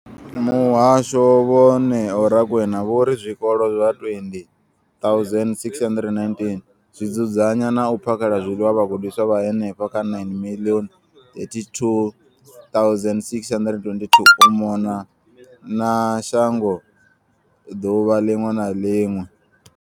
Muhasho, vho Neo Rakwena, vho ri zwikolo zwa 20 619 zwi dzudzanya na u phakhela zwiḽiwa vhagudiswa vha henefha kha 9 032 622 u mona na shango ḓuvha ḽiṅwe na ḽiṅwe.